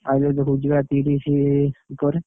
Mileage ଦେଖଉଛି ବା ତିରିଶ ଉପରେ